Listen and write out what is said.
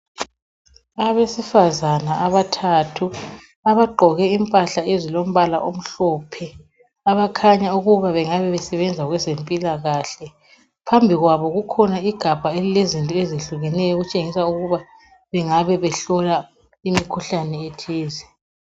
Abesifazana abathathu abagqoke impahla ezilombala omhlophe, abakhanya ukuba bengabe besebenza kwezempilakahle, phambi kwabo kukhona igabha elilezinto ezehlukeneyo elitshengisa ukuba bengabe behlola imkhuhlane ethize.